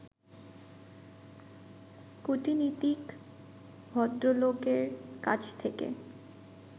কূটনীতিক ভদ্রলোকের কাছ থেকে